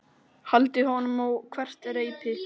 Hældi honum á hvert reipi.